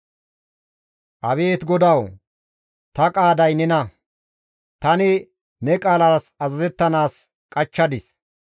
Abeet GODAWU! Ta qaaday nena; tani ne qaalas azazettanaas qachchadis.